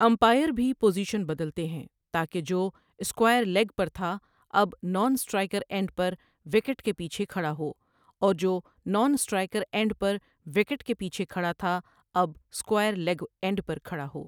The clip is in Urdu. امپائر بھی پوزیشن بدلتے ہیں تاکہ جو 'اسکوائر لیگ' پر تھا اب نان اسٹرائیکر اینڈ پر وکٹ کے پیچھے کھڑا ہو اور جو نان اسٹرائیکر اینڈ پر وکٹ کے پیچھے کھڑا تھا، اب 'اسکوائر لیگ' اینڈ پر کھڑا ہو۔